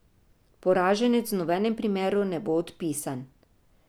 Poraženec v nobenem primeru ne bo odpisan.